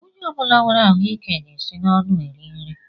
Onye ọbula nwèrè ahụike ga-esi n'ọnụ eri nri.